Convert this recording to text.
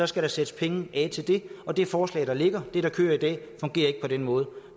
skal der sættes penge af til det og det forslag der ligger det der kører i dag fungerer ikke på den måde